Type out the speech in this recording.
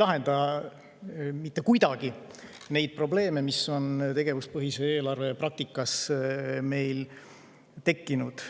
lahenda mitte kuidagi neid probleeme, mis meil tegevuspõhise eelarve praktikas on tekkinud.